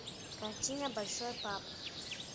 картина большой папа